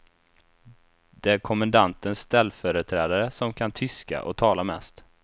Det är kommendantens ställföreträdare som kan tyska och talar mest.